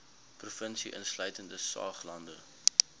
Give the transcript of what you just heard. provinsie insluitende saoglande